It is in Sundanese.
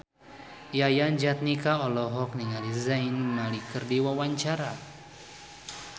Yayan Jatnika olohok ningali Zayn Malik keur diwawancara